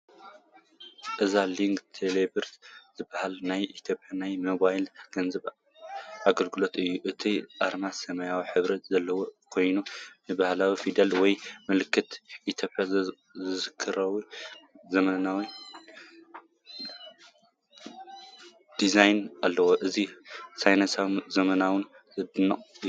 እዚ ሎጎ "telebirr" ዝበሃል ናይ ኢትዮጵያ ናይ ሞባይል ገንዘብ ኣገልግሎት እዩ። እቲ ኣርማ ሰማያዊ ሕብሪ ዘለዎ ኮይኑ፡ ንባህላዊ ፊደላት ወይ ምልክታት ኢትዮጵያ ዘዘኻኽር ዘመናዊ ዲዛይን ኣለዎ። እዚ ፋይናንሳዊ፡ ዘመናውን ዝድነቕን እዩ።